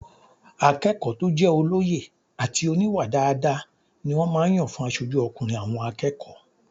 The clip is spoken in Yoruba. Akẹ́kọ̀ọ́ tó jẹ́ olóye àti oníwà dáadáa ni wọ́n máa n yàn fún asojú ọkùnrin àwọn akẹ́kọ̀ọ́